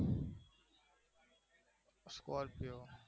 Scorpio